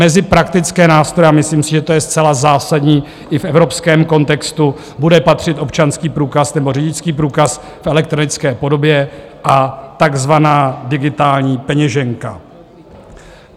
Mezi praktické nástroje, a myslím si, že to je zcela zásadní i v evropském kontextu, bude patřit občanský průkaz nebo řidičský průkaz v elektronické podobě a takzvaná digitální peněženka.